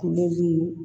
Kulen